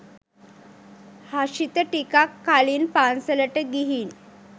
හෂිත ටිකක් කලින් පන්සලට ගිහින්